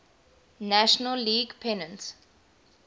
national league pennant